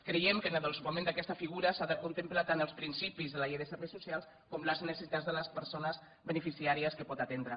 creiem que en el desenvolupament d’aquesta figura s’han de contemplar tant els principis de la llei de serveis socials com les necessitats de les persones beneficiàries que pot atendre